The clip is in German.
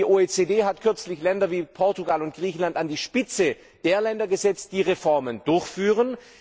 Die OECD hat kürzlich Länder wie Portugal und Griechenland an die Spitze der Länder gesetzt, die Reformen durchführen.